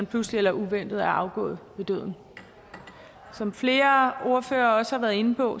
pludseligt og uventet er afgået ved døden som flere ordførere også har været inde på